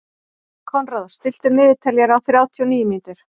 Konráð, stilltu niðurteljara á þrjátíu og níu mínútur.